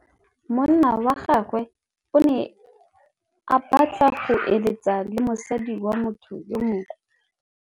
Monna wa gagwe o ne a batla go êlêtsa le mosadi wa motho yo mongwe.